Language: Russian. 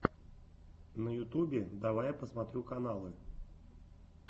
на ютубе давай я посмотрю каналы